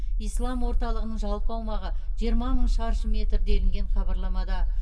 ислам орталығының жалпы аумағы жиырма мың шаршы метр делінген хабарламада